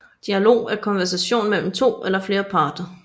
Dialog er konversation mellem to eller flere parter